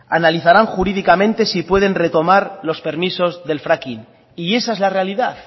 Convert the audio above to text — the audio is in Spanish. analizarán jurídicamente si pueden retomar los permisos del fracking y esa es la realidad